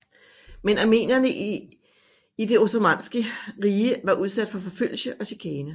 Men armenerne i det osmanniske rige var udsat for forfølgelse og chikane